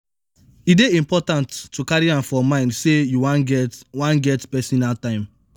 e dey important to carry am for mind sey you wan get wan get personal time